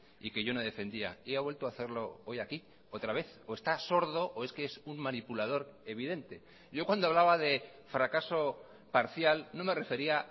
y que yo no defendía y ha vuelto a hacerlo hoy aquí otra vez o está sordo o es que es un manipulador evidente yo cuando hablaba de fracaso parcial no me refería